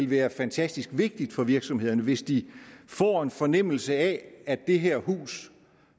være fantastisk vigtigt for virksomhederne hvis de får en fornemmelse af at det her hus